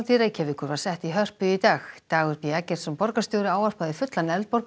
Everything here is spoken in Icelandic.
Reykjavíkur var sett í Hörpu í dag Dagur b Eggertsson borgarstjóri ávarpaði fullan